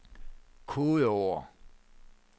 kodeord